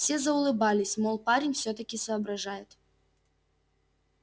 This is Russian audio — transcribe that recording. все заулыбались мол парень всё-таки соображает